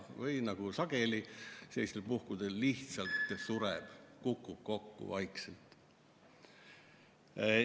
Või nagu sageli sellistel puhkudel, lihtsalt sureb, kukub vaikselt kokku.